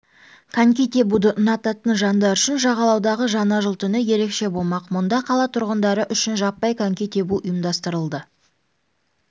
коньки тебуді ұнататын жандар үшін жағалаудағы жаңа жыл түні ерекше болмақ мұнда қала тұрғындары үшін жаппай коньки тебу ұйымдастырылады